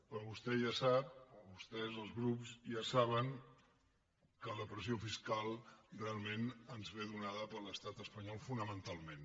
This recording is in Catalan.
però vostè ja sap o vostès els grups ja ho saben que la pressió fiscal realment ens ve donada per l’estat espanyol fonamentalment